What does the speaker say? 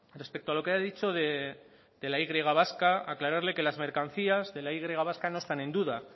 respecto a lo que he dicho de la y vasca aclararle que las mercancías de la y vasca no están en duda